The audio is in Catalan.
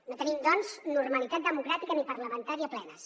no tenim doncs normalitat democràtica ni parlamentària plenes